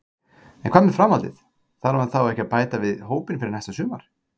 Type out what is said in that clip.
En hvað með framhaldið, þarf hann þá ekki að bæta við hópinn fyrir næsta sumar?